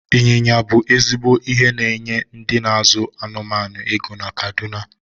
Ị́nyinya ibu ezigbo ihe na-enye ndị n'azụ anụmanụ ego na kaduna